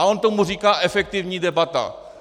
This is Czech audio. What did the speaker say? A on tomu říká efektivní debata.